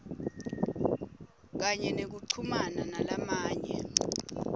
kanye nekuchumana nalamanye